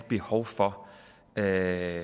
behov for at